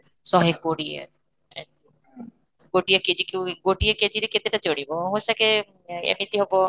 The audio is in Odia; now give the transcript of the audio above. ଶହେ କୋଡିଏ ଗୋଟିଏ KG କୁ ଗୋଟିଏ KG ରେ କେତେ ଚଢ଼ିବ ଏମିତି ହେବ